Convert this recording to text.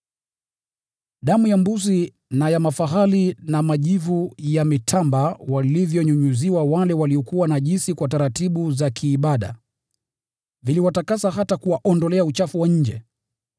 Damu ya mbuzi na ya mafahali, na majivu ya mitamba walivyonyunyiziwa wale waliokuwa najisi kwa taratibu za kiibada viliwatakasa, hata kuwaondolea uchafu wa nje.